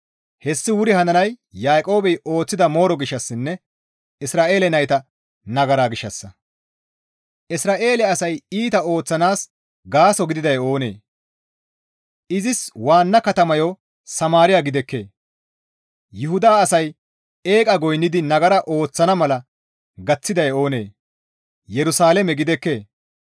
Hessi wuri hananay Yaaqoobey ooththida mooro gishshassinne Isra7eele nayta nagara gishshassa; Isra7eele asay iita ooththanaas gaaso gididay oonee? Izis waanna katamayo Samaariya gidekkee? Yuhuda asay eeqa goynnidi nagara ooththana mala gaththiday oonee? Yerusalaame gidekkee?